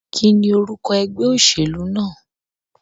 Kíní orúko egbé òsèlú náà?